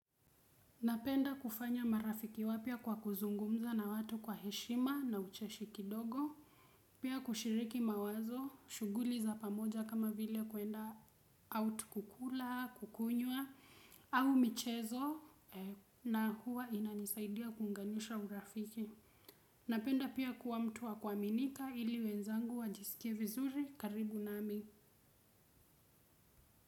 Napenda kufanya marafiki wapya kwa kuzungumza na watu kwa heshima na ucheshi kidogo. Pia kushiriki mawazo, shughuli za pamoja kama vile kuenda out kukula, kukunywa, au michezo na huwa inanisaidia kuunganisha urafiki. Napenda pia kuwa mtu wa kuaminika ili wenzangu wajisikie vizuri karibu nami.